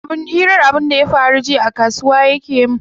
Hirar abunda ya faru jiya a kasuwa yake mun.